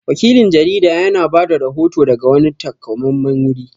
Wakilin jarida ya na bada rahoto daga wani taƙamammen wuri